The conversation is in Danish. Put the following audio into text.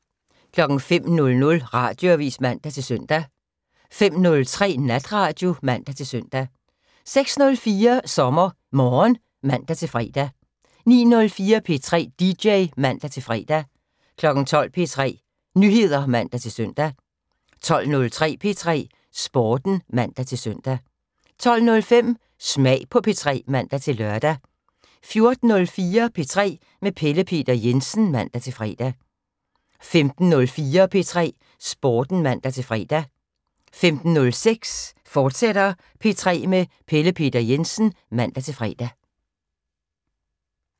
05:00: Radioavis (man-søn) 05:03: Natradio (man-søn) 06:04: SommerMorgen (man-fre) 09:04: P3 dj (man-fre) 12:00: P3 Nyheder (man-søn) 12:03: P3 Sporten (man-søn) 12:05: Smag på P3 (man-lør) 14:04: P3 med Pelle Peter Jensen (man-fre) 15:04: P3 Sporten (man-fre) 15:06: P3 med Pelle Peter Jensen, fortsat (man-fre)